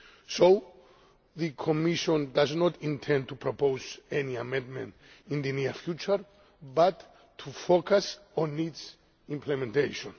So the Commission does not intend to propose any amendment in the near future but to focus on its implementation.